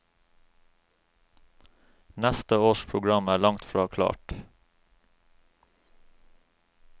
Neste års program er langt fra klart.